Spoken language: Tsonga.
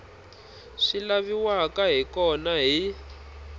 swi laviwaka hi kona hi